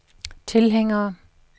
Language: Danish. tilhængere